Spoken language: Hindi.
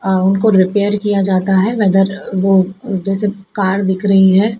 और उनको रिपेयर किया जाता है वेदर वो जैसे कार दिख रही है।